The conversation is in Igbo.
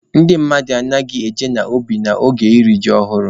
Ndị mmadụ anaghị eje ubi n'oge iri ji ọhụrụ.